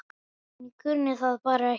En ég kunni það bara ekki.